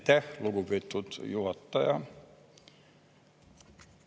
Aitäh, lugupeetud juhataja!